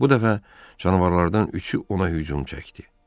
Bu dəfə canavarlardan üçü ona hücum çəkdi.